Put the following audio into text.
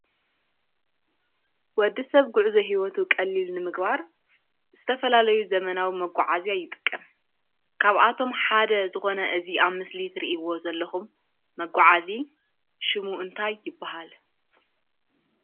ወድሰብ ጉዕዞ ሂወቱ ቀሊል ንምግባር ዝተፈላለዩ ዘመናዊ መጓዓዝያ ይጥቀም። ካብኣቶም ሓደ ዝኾነ እዚ ኣብ ምስሊ ትርእይዎ ዘለኩም መጓዓዚ ሹሙ እንታይ ይበሃል?